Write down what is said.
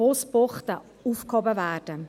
Busbuchten aufgehoben werden.